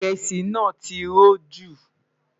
iresi nà tí rò jù